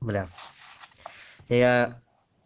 бля я